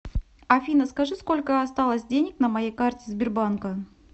афина скажи сколько осталось денег на моей карте сбербанка